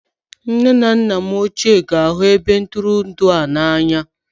Nne na nna m ochie ga-ahụ ebe ntụrụndụ a n'anya